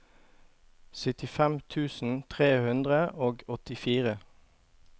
syttifem tusen tre hundre og åttifire